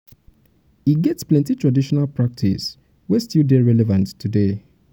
e get plenty traditional practice wey still dey relevant today.